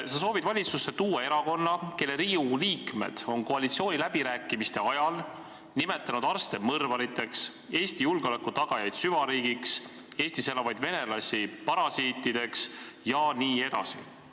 Sa soovid valitsusse tuua erakonna, kelle liikmed Riigikogus on koalitsiooniläbirääkimiste ajal nimetanud arste mõrvariteks, Eesti julgeoleku tagamist süvariigiks, Eestis elavaid venelasi parasiitideks jne.